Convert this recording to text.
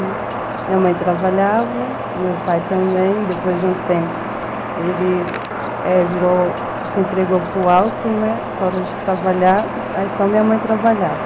Minha mãe trabalhava, meu pai também, depois de um tempo ele se entregou para o álcool, né, parou de trabalhar, aí só minha mãe trabalhava.